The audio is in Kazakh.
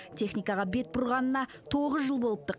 техникаға бет бұрғанына тоғыз жыл болыпты